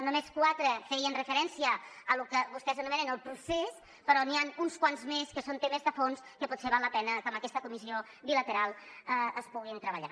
només quatre feien referència al que vostès anomenen el procés però n’hi han uns quants més que són temes de fons que potser val la pena que amb aquesta comissió bilateral es puguin treballar